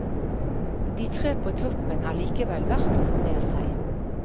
De tre på toppen er likevel verd å få med seg.